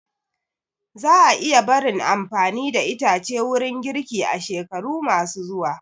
Za a iya barin amfani da itace wurin girki a shekaru ma su zuwa